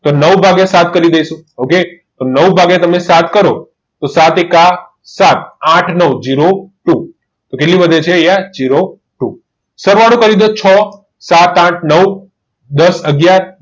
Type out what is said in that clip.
નવ ભાગ્યા સાત કરી દઈશું તો તમે નવ વાગ્યા સાત કરો તો સાત ગુણ્યા એક સાત આઠ નવ ઝીરો ટુ તો કેટલું વધે છે તો ઝીરો ટુ સરવાળો કરી દો છો સાત આઠ નવ દસ